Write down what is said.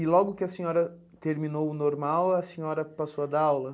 E logo que a senhora terminou o normal, a senhora passou a dar aula?